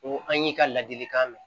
Ko an y'i ka ladilikan mɛn